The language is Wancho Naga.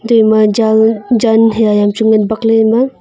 te ema jan haiya eya hamchu ngan bakley ema.